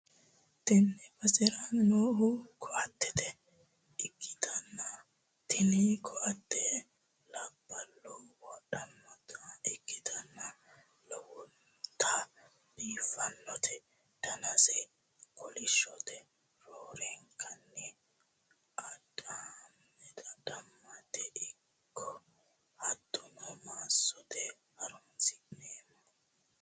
tee basera noohu ko'ate ikkitanna, tini ko'atte labballu wodhannota ikkitanna. lowonta biifadote, danaseno kolishshote, roorenkanni adhammete ikko hattono massote horonsi'neemmo.